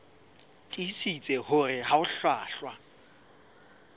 tiisitse hore ha ho hlwahlwa